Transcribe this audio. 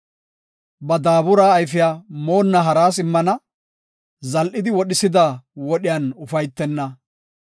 Ba daabura ayfiya moonna haras immana; zal7idi wodhisida wodhiyan ufaytenna.